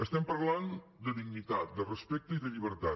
estem parlant de dignitat de respecte i de llibertat